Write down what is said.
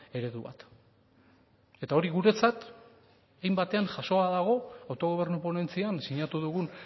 eredu bat eta hori guretzat hein batean jasoa da autogobernu ponentzian sinatu dugun